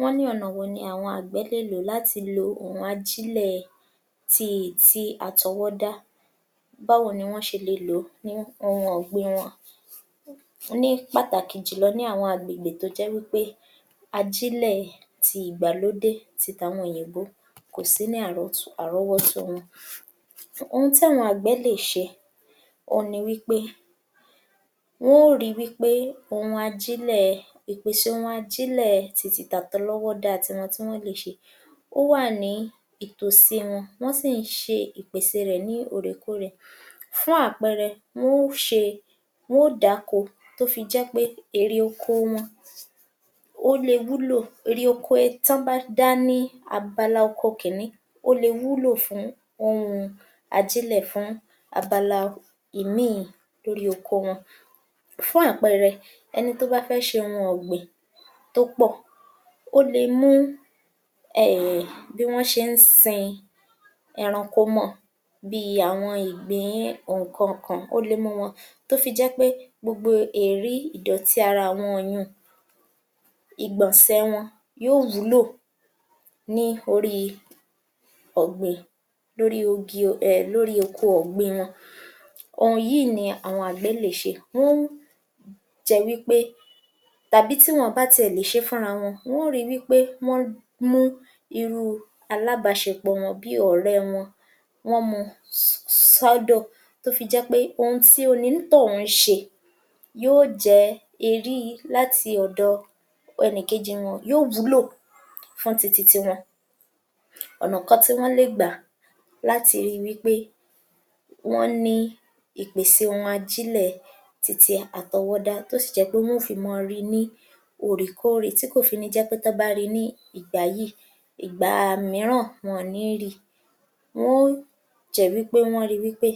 Wọ́n ní ọ̀nà wo ni àwọn àgbẹ̀ lè lò láti lo òhun ajílẹ̀ ti ìti àtọwọ́dá, báwo ni wọ́n ṣe le lò ó ní ohun ọ̀gbìn wọn ní pàtàkì jùlọ ní àwọn àgbègbè tó jẹ́ wí pé ajílẹ̀ ti ìgbàlódé tí tàwọn òyìnbó kò sí ní àrọ́tó...àrọ́wọ́tó wọn. Ohun tí àwọn àgbẹ̀ lè ṣe oun ni wí pé wọ́n ó ri wí pé ohun ajílẹ̀...ìpèsè ohun ajílẹ̀ titi tàtọlọ́wọ́dà ti wọn tí wọ́n lè ṣe ó wà ní ìtòsí wọn, wọ́n sì ń ṣe ìpèsè rẹ̀ ní òrèkorè. Fún àpẹẹrẹ, wọ́n ó ṣe wọ́n ó dáko tó fi jẹ́ pé ère oko wọn ó le wúlò, ère oko e tán bá dá ní abala oko kìíní ó le wúlò fún ohùn ajílẹ̀ fún abala ìmíìn lórí oko wọn. Fún àpẹẹrẹ, ẹni tó bá fẹ́ ṣẹhun ọ̀gbìn tó pọ̀ ó le mú um bí wọ́n ṣe ń sin ẹranko mọ́ ọn bíi àwọn ìgbín ònkanǹkàn ó le mú un mọ́ ọn tó fi jẹ́ pé gbogbo èérí ìdọ̀tí ara àwọn yunùn, ìgbọ̀nsẹ wọn, yóò wúlò ní orí ọ̀gbìn. Lórí ogi....lórí oko ọ̀gbìn wọn. Ohun yìí ni àwọn àgbẹ̀ lè ṣe wọ́n jẹ wí pé tàbí tí wọn àn bá tiẹ̀ le ṣe fúnra wọn, wọ́n ó rí wí pé wọ́n mú irú alábàáṣepọ̀ wọn bíi ọ̀rẹ́ wọn, wọ́n mú un s....s....sọ́dọ̀, tó fi jẹ́ pé ohun tí onítọ̀hún ṣe yóò jẹ́ eéri láti ọ̀dọ̀ ẹnìkejì wọn yóò wúlò fún. Ọ̀nà kan tí wọ́n lè gbà láti rí wí pé wọ́n ní ìpèsè ohun ajílẹ̀ titi àtọwọ́dá tó sì jẹ́ pé wọ́n ó fi mọ́ rí i ní òrékòrè, tí kò fi ní jẹ́ pé tán án bá rí i ní ìgbà yìí, ìgbàà míràn wọn àn ní rí í. Wọ́n jẹ́ wí pé rí pé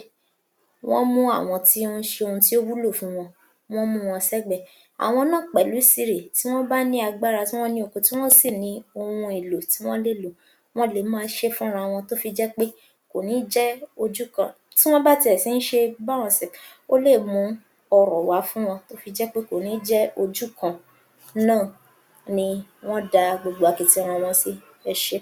wọ́n mú àwọn tó ń ṣe ohun tí ó wúlò fún wọn, wọ́n mú wọn sẹ́gbẹ̀ẹ́. Àwọn náà pẹ̀lú sìré, tí wọ́n bá ní agbára, tí wọ́n ní okun, tí wọ́n sì ní ohun èlò tí wọ́n lè lò wọ́n le mọ́ọ ṣé é fúnra wọn tó fi jẹ́ pé kò ní jẹ́ ojú kan. Tí wọ́n bá tiẹ̀ tí ń ṣe báwọn ó lè mú ọrọ̀ wá fún wọn kò ní jẹ́ ojú kan náà ni wọ́n da gbogbo akitiyan wọn sí. Ẹ ṣé.